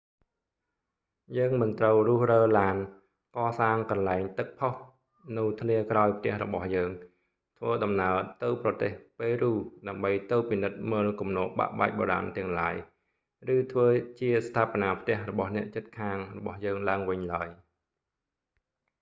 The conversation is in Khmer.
យើងមិនត្រូវរុះរើឡាន កសាងកន្លែងទឹកផុសនៅធ្លាក្រោយផ្ទះរបស់យើង ធ្វើដំណើរទៅប្រទេសប៉េរូដើម្បីទៅពិនិត្យមើលគំនរបាក់បែកបុរាណទាំងឡាយ ឬធ្វើជាស្ថាបនាផ្ទះរបស់អ្នកជិតខាងរបស់យើងឡើងវិញឡើយ